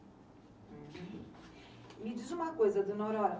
Me diz uma coisa, dona Aurora.